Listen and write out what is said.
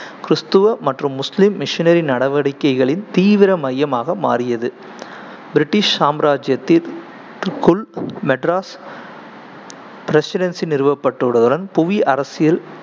கிறிஸ்தவ மற்றும் முஸ்லீம் missionary நடவடிக்கைகளின் தீவிர மையமாக மாறியது. british சாம்ராஜியத்தில் ~குள் மெட்ராஸ் பிரசிடென்சி நிறுவப்பட்டவுடன் புவி அரசியல்